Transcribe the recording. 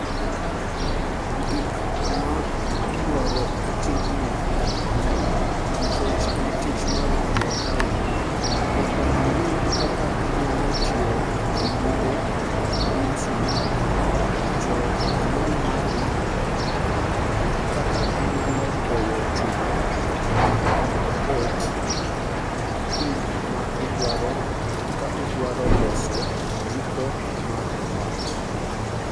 Gik ma idwaro e tijni, nikech en tich mar jua kali, nyaka ing'e kaka inyalo tiyo gi nyundo gi msumal, to anyal mari, kaka inyalo goyo chuma nyaka obet kind ma idwaro ka idwaro loso jiko mara mabati.